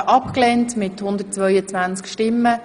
Annahme oder Ablehnung der Initiative)